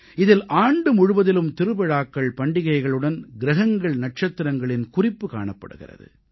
இதில் ஆண்டு முழுவதிலும் திருவிழாக்கள் பண்டிகைகளுடன் கிரகங்கள் நட்சத்திரங்களின் குறிப்பு காணப்படுகிறது